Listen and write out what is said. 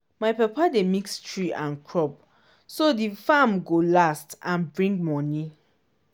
my papa dey mix tree and crop so di farm go last and bring money.